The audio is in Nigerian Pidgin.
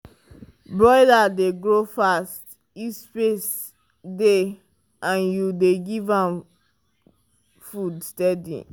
broiler dey grow fast if space dey and you dey give am food steady.